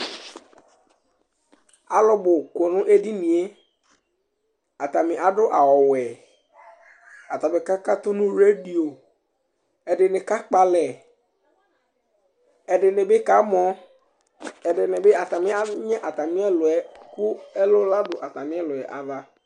Alʋ bʋ kɔ nʋ edini yɛ Atanɩ adʋ awʋwɛ, atanɩ kakatʋ nʋ redio, ɛdɩnɩ kakpɔ alɛ, ɛdɩnɩ bɩ kamɔ, ɛdɩnɩ bɩ atanɩ anyɩ atamɩ ɛlʋ yɛ kʋ ɛlɔ nadʋ atamɩ ɛlʋ yɛ ava